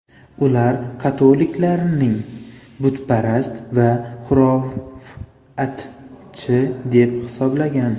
Ular katoliklarning butparast va xurofotchi deb hisoblagan.